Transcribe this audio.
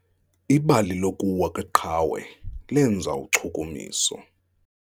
Ibali lokuwa kweqhawe lenza uchukumiso.